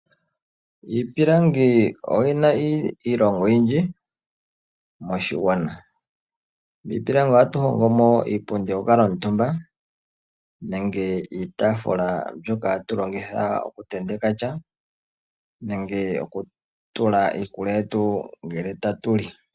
Iipilangi oyina iilonga oyindji moshigwana. Miipilangi ohatu hongo mo iipundi yoku kuutumba, nenge iitafula mbyoka hatu longitha oku tenteka sha, nenge okutula iikulya yetu ngele tatu li.